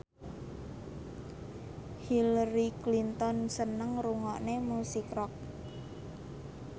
Hillary Clinton seneng ngrungokne musik rock